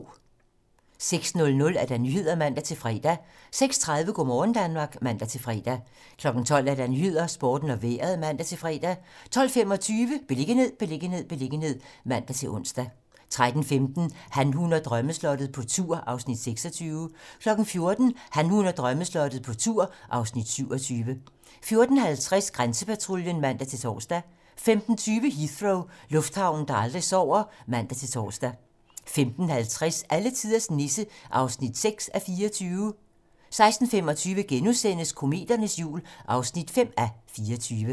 06:00: Nyhederne (man-fre) 06:30: Go' morgen Danmark (man-fre) 12:00: 12 Nyhederne, Sporten og Vejret (man-fre) 12:25: Beliggenhed, beliggenhed, beliggenhed (man-ons) 13:15: Han, hun og drømmeslottet - på tur (Afs. 26) 14:00: Han, hun og drømmeslottet - på tur (Afs. 27) 14:50: Grænsepatruljen (man-tor) 15:20: Heathrow - lufthavnen, der aldrig sover (man-tor) 15:50: Alletiders Nisse (6:24) 16:25: Kometernes jul (5:24)*